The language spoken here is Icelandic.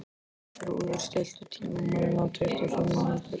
Þrúður, stilltu tímamælinn á tuttugu og fimm mínútur.